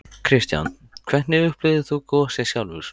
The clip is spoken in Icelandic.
Kristján: Hvernig upplifðir þú gosið sjálfur?